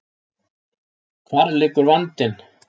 Hvar liggur vandinn?